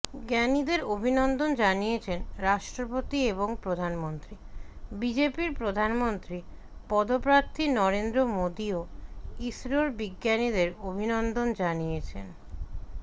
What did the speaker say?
ঞানীদের অভিনন্দন জানিয়েছেন রাষ্ট্রপতি এবং প্রধানমন্ত্রী বিজেপির প্রধানমন্ত্রী পদপ্রার্থী নরেন্দ্র মোদীও ইসরোর বিজ্ঞানীদের অভিনন্দন জানিয়েছেন